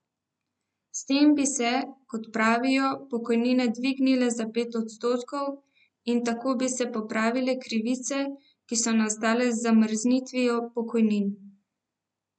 S tem bi se, kot pravijo, pokojnine dvignile za pet odstotkov, in tako bi se popravile krivice, ki so nastale z zamrznitvijo pokojnin.